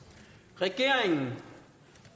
regeringen